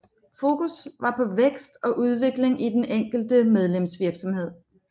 Fokus var på vækst og udvikling i den enkelte medlemsvirksomhed